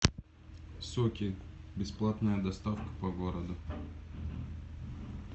соки бесплатная доставка по городу